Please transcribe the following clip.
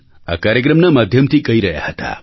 આ કાર્યક્રમના માધ્યમથી કહી રહ્યા હતા